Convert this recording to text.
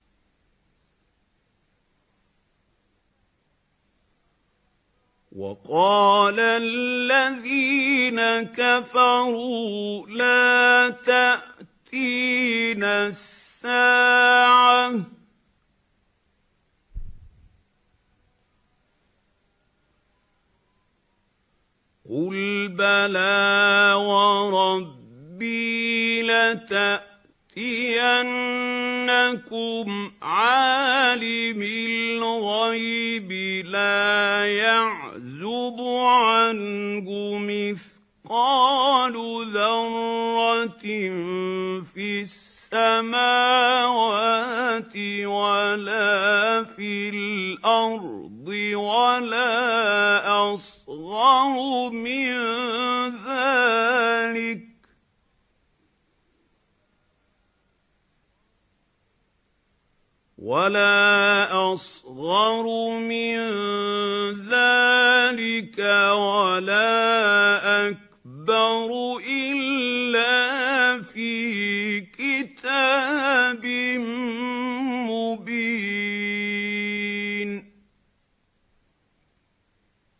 وَقَالَ الَّذِينَ كَفَرُوا لَا تَأْتِينَا السَّاعَةُ ۖ قُلْ بَلَىٰ وَرَبِّي لَتَأْتِيَنَّكُمْ عَالِمِ الْغَيْبِ ۖ لَا يَعْزُبُ عَنْهُ مِثْقَالُ ذَرَّةٍ فِي السَّمَاوَاتِ وَلَا فِي الْأَرْضِ وَلَا أَصْغَرُ مِن ذَٰلِكَ وَلَا أَكْبَرُ إِلَّا فِي كِتَابٍ مُّبِينٍ